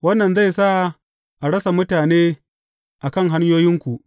Wannan zai sa a rasa mutane a kan hanyoyinku.